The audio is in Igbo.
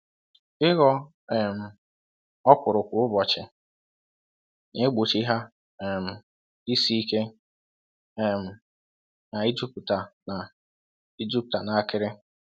Ịghọ um okwuru kwa ụbọchị na-egbochi ha um isi ike um na i jupụta na i jupụta na akịrị.